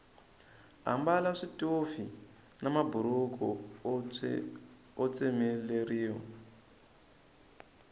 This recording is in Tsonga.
ambala switofi na maburhuku o tsemeleriwa